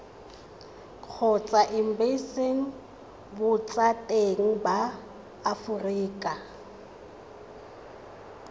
kgotsa embasing botseteng ba aforika